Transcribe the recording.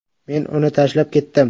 Men uni tashlab ketdim.